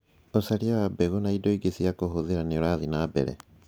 Ũcaria wa mbegũ na indo ingĩ cia kuhũthĩra nĩ ũrathiĩ na mbere